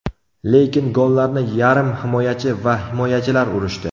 Lekin gollarni yarim himoyachi va himoyachilar urishdi.